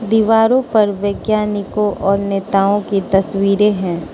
दीवारों पर वैज्ञानिकों और नेताओं की तस्वीरें हैं।